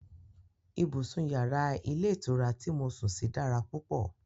Ibùsùn yàrá ilé ìtura ti mo sùn sí dára púpọ̀